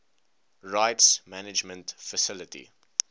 rights management facility